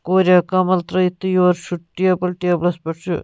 کوریا کمل ترٲوِتھ تہٕ یورٕ چُھ ٹیبل ٹیلس پٮ۪ٹھ چھ